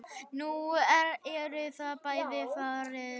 Nú eru þau bæði farin.